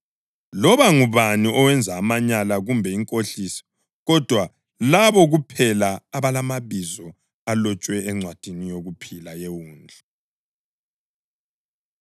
Akulalutho olungcolileyo oluzake lungene kulo, loba ngubani owenza amanyala kumbe inkohliso, kodwa labo kuphela abalamabizo abo alotshwe encwadini yokuphila yeWundlu.